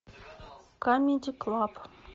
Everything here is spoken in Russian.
камеди клаб